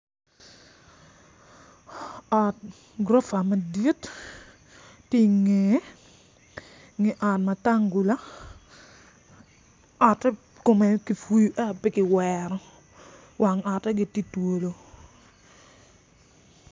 Ot gurofa madit tye ingeye inge ot matangula ote kume kipuyu ento pe kiwero wang ote gitye twolo